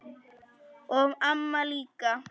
Og amma líka.